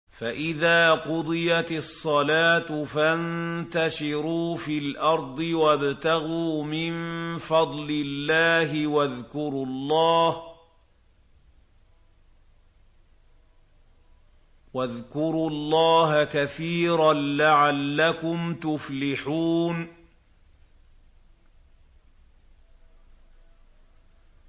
فَإِذَا قُضِيَتِ الصَّلَاةُ فَانتَشِرُوا فِي الْأَرْضِ وَابْتَغُوا مِن فَضْلِ اللَّهِ وَاذْكُرُوا اللَّهَ كَثِيرًا لَّعَلَّكُمْ تُفْلِحُونَ